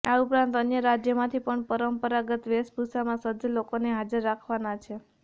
આ ઉપરાંત અન્ય રાજ્યોમાંથી પણ પરંપરાગત વેશભૂષામાં સજ્જ લોકોને હાજર રાખવાના છે